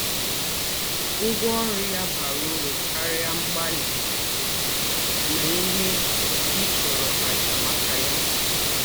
Ụ́gwọ́ ọ̀rụ́ yà bàrà ūrù káríà mgbálí na íhè í chùrù àjà maka ya.